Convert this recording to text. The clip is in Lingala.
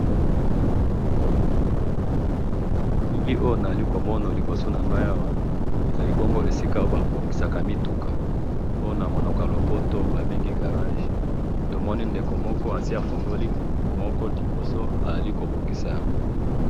Na moni garage esika ba bongisaka mituka, na moni bafongoli moko bazali ko bongisa yango.